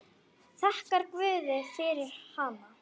Þakkar guði fyrir hana.